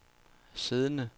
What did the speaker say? siddende